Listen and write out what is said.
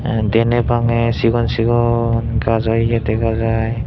ah deney bangey sigon sigon gajo ye degajai.